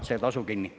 … see tasu kinni.